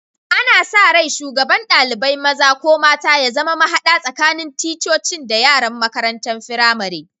Ana sa rai shugaban dalibain maza/mata ya zama mahada tsakanin ticcocin da yaran makarantan firamari.